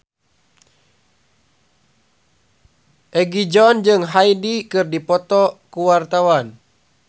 Egi John jeung Hyde keur dipoto ku wartawan